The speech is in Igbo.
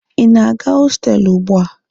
Ị na-aga na hostelụ ugbua?